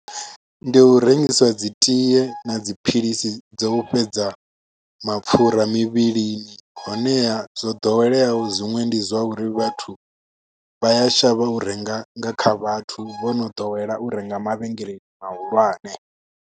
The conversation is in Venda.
Ndi u rengisa dzi tie na dziphilisi dzo fhedza mapfhura mivhilini honeha zwo ḓoweleaho zwiṅwe ndi zwa uri vhathu vha ya shavha u renga nga kha vhathu vho no ḓowela u renga mavhengeleni mahulwane.